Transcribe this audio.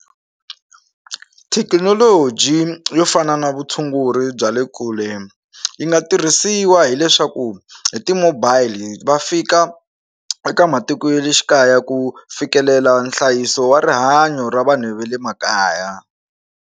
Thekinoloji yo fana na vutshunguri bya le kule yi nga tirhisiwa hileswaku hi ti-mobile va fika eka matiko ya le xikaya ku fikelela nhlayiso wa rihanyo ra vanhu va le makaya.